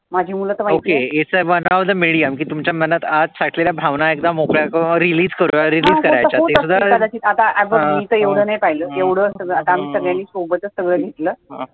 It is one of the medium तुमच्या मनात आत साठलेल्या ल्या भावना सगळ्या मोकळ्या करुन release करुन